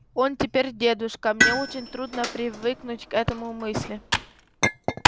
он теперь дедушка мне очень трудно привыкнуть к этому мысли